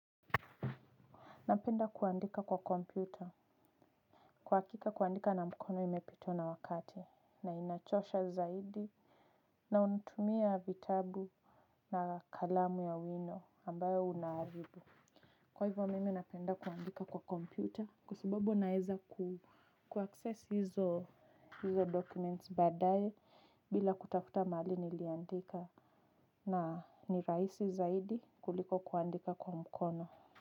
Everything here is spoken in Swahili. Napenda kuandika kwa kompyuta kwa hakika kuandika na mkono imepitwa na wakati na inachosha zaidi. Na unatumia vitabu na kalamu ya wino ambayo unaribu. Kwa hivyo mimi napenda kuandika kwa kompyuta kwa sababu naeza ku access izo izo documents baadaye bila kutafuta mahali niliandika na nirahisi zaidi kuliko kuandika kwa mkono.